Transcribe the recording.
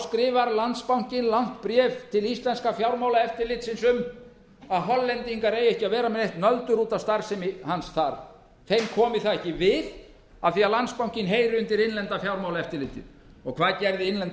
skrifar landsbankinn langt bréf til íslenska fjármálaeftirlitsins um að hollendingar eigi ekki að vera með nöldur út af starfsemi hans þar þeim komi það ekki við af því að landsbankinn heyrir undir innlenda fjármálaeftirlitið hvað gerði innlenda